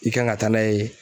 I kan ka taa n'a ye